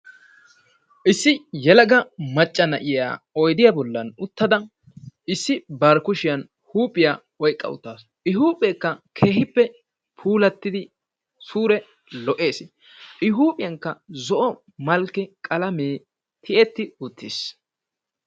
Issi yelaga macca na'iyaa oyddiya bollan uttada issi bari kushshiyaan huuphiyaa oyqqa uttaasu. I huuphekka keehippe Puulatidi suure lo"ees, I huuphiyankka zo"o malkke qalamee tiyeti uttiis.